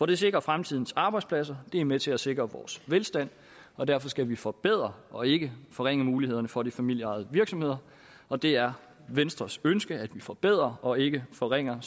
det sikrer fremtidens arbejdspladser og det er med til at sikre vores velstand og derfor skal vi forbedre og ikke forringe mulighederne for de familieejede virksomheder og det er venstres ønske at vi forbedrer og ikke forringer